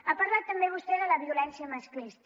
ha parlat també vostè de la violència masclista